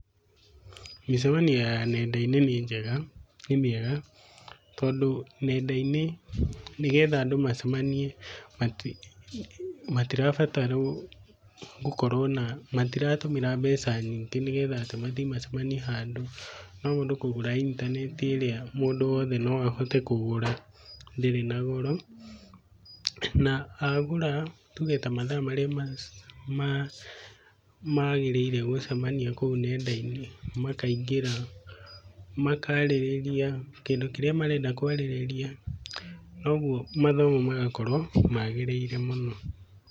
Mĩcamanio ya nenda-inĩ nĩ njega nĩmĩega, tondũ nenda-inĩ nĩgetha andũ macemanie mati matirabatarwo gũkorwo na, matiratũmĩra mbeca nyingĩ nĩgetha atĩ mathiĩ macemanie handũ. No mũndũ kũgũra intanenti ĩrĩa mũndũ wothe noahote kũgũra ndĩrĩ. Na goro na agũra tuge ta mathaa marĩa ma, magĩrĩire gũcemania kũo nenda-inĩ makaingĩra makarĩrĩria kĩndũ kĩrĩa marenda kwarĩrĩria, noguo mathomo magakorwo magĩrĩire mũno.